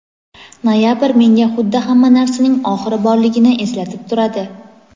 Noyabr menga xuddi hamma narsaning oxiri borligini eslatib turadi.